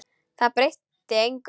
Það breytti engu.